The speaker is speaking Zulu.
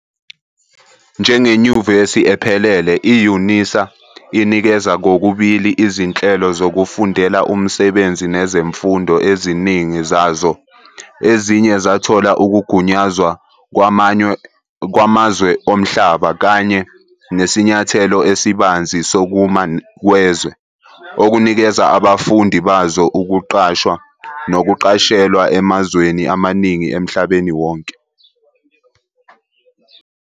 Njengenyuvesi ephelele, i-Unisa inikeza kokubili izinhlelo zokufundela umsebenzi nezemfundo, eziningi zazo eziye zathola ukugunyazwa kwamazwe omhlaba, kanye nesinyathelo esibanzi sokuma kwezwe, okunikeza abafundi bazo ukuqashwa nokuqashelwa emazweni amaningi emhlabeni wonke.